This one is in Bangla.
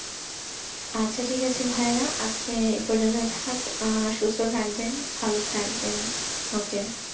আচ্ছা ঠিক আছে ভাইয়া আজকে এই পর্যন্ত থাক আহ সুস্থ থাকবেন ভালো থাকবেন okay